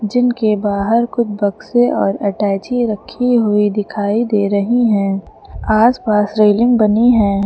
जिनके बाहर खूब बक्से और अटैची रखी हुई दिखायी दे रही है आस पास रेलिंग बनी है।